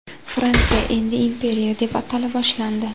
Fransiya endi imperiya deb atala boshlandi.